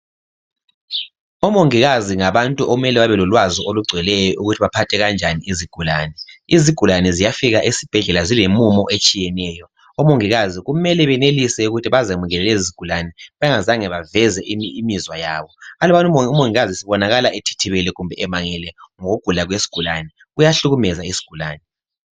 Omongikazi ngabantu okumele bebe lolwazi olungcweleyo ukuthi baphathe kanjani izigulani izigulani ziyafika esibhedlela zile mumo etshiyeneyo omongikazi mele benelise ukuthi bazamukele lezi izigulani bengazange beveze imizwa yabo alubana umongikazi ebonakala ethithi bele or emangele ngokugula kwesigulane kuyahlukumeza isigulane